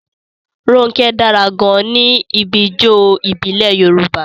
Ronke dára gan-an níbi ijó ìbílẹ̀ Yorùbá.